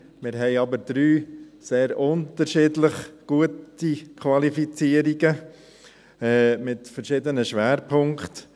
Wir haben aber 3 unterschiedliche gute Qualifizierungen mit verschiedenen Schwerpunkten.